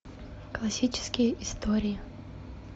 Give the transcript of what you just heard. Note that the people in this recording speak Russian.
классические истории